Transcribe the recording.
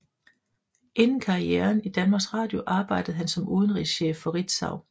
Inden karrieren i Danmarks Radio arbejdede han som udenrigschef for Ritzau